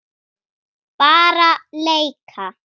Bara leika.